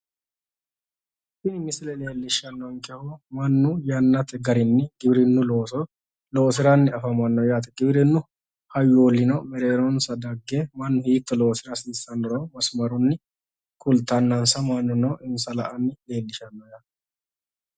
tini misile leellishshanonkehu mannu yannate garinni giwirinnu looso loosiranni afamanno yaate giwirinnu hayyoollino mereeronsa dagge mannu hiitto loosira hasiissannoro masimarunni kultannansa mannuno insa la'anni nooha leellishshanno yaate.